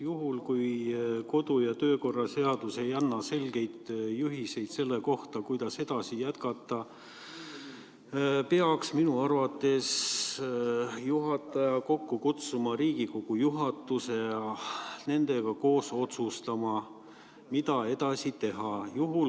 Juhul, kui kodu- ja töökorra seadus ei anna selgeid juhiseid selle kohta, kuidas jätkata, peaks minu arvates juhataja kokku kutsuma Riigikogu juhatuse ja nendega koos otsustama, mida edasi teha.